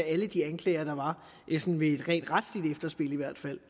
af alle de anklager der var i hvert fald